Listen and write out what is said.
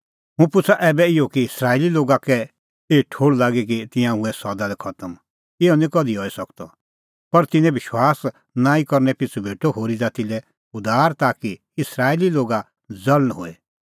हुंह पुछ़ा ऐबै इहअ कि इस्राएली लोगा कै एही ठोहल़ लागी कि तिंयां हुऐ सदा लै खतम इहअ निं कधि हई सकदअ पर तिन्नें विश्वास नांईं करनै पिछ़ू भेटअ होरी ज़ाती लै उद्धार ताकि इस्राएली लोगा ज़ल़ण होए